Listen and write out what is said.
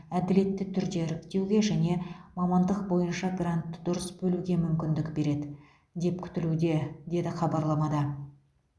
әділетті түрде іріктеуге және мамандық бойынша гранты дұрыс бөлуге мүмкіндік береді деп күтілуде деді хабарламада